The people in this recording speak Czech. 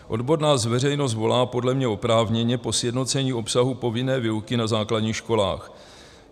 Odborná veřejnost volá podle mě oprávněně po sjednocení obsahu povinné výuky na základních školách.